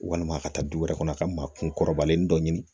Walima ka taa du wɛrɛ kɔnɔ a ka maa kun kɔrɔbalen dɔ ɲini